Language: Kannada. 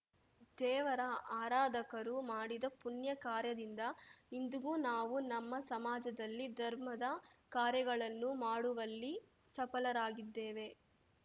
ದೇವರ ಆರಾಧಕರು ಮಾಡಿದ ಪುಣ್ಯ ಕಾರ್ಯದಿಂದ ಇಂದಿಗೂ ನಾವು ನಮ್ಮ ಸಮಾಜದಲ್ಲಿ ಧರ್ಮದ ಕಾರ್ಯಗಳನ್ನು ಮಾಡುವಲ್ಲಿ ಸಫಲರಾಗಿದ್ದೇವೆ